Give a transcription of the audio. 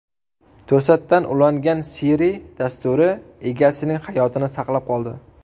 To‘satdan ulangan Siri dasturi egasining hayotini saqlab qoldi.